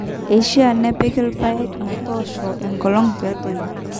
eishiaa nepiki irrpaek metoosho enkolong peetoyu